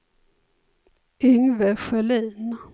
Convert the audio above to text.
Yngve Sjölin